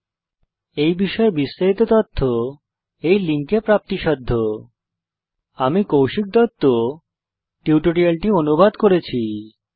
এই বিষয়ে বিস্তারিত তথ্য এই লিঙ্কে প্রাপ্তিসাধ্য spoken hyphen tutorial dot org slash NMEICT hyphen intro আমি কৌশিক দত্ত টিউটোরিয়ালটি অনুবাদ করেছি